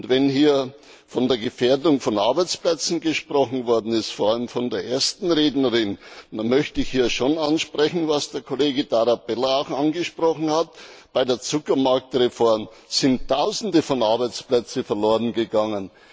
Wenn hier von der Gefährdung von Arbeitsplätzen gesprochen worden ist, vor allem von der ersten Rednerin, dann möchte ich hier schon ansprechen, was der Kollege Tarabella auch angesprochen hat Bei der Zuckermarktreform sind Tausende von Arbeitsplätzen verlorengegangen.